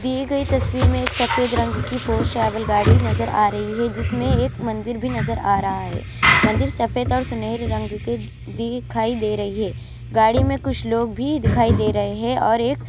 تصویر میں ایک سفید رنگ کی فور ٹرائیول گاڑی نظر ارہی ہے جس میں ایک مندر بھی نظر ارہا ہے مندر صفت اور سنیر رنگ کے دکھائی دے رہی ہے گاڑی میں کچھ لوگ بھی دکھائی دے رہے ہیں اور.